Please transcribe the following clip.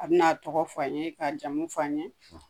A bi na tɔgɔ fɔ an ye k'a jamu fɔ an ye.